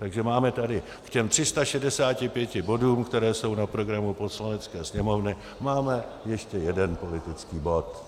Takže máme tady k těm 365 bodům, které jsou na programu Poslanecké sněmovny, máme ještě jeden politický bod.